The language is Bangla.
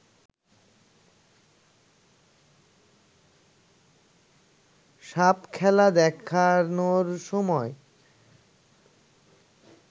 সাপখেলা দেখানোর সময়